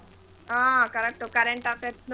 ಹಾ correct ಉ current affairs ದು.